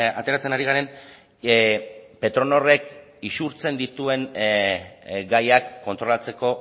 ateratzen ari garen petronorrek isurtzen dituen gaiak kontrolatzeko